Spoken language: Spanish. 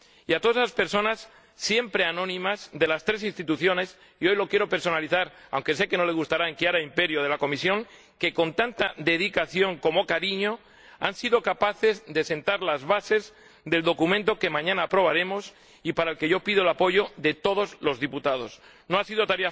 Y a todas esas personas siempre anónimas de las tres instituciones y hoy lo quiero personalizar, aunque sé que no le gustará, en Chiara Imperio de la Comisión que con tanta dedicación como cariño han sido capaces de sentar las bases del documento que mañana aprobaremos y para el que yo pido el apoyo de todos los diputados. No ha sido tarea fácil, pero creo que ha valido la pena el esfuerzo.